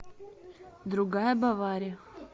другая бавария